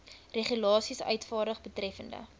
regulasies uitvaardig betreffende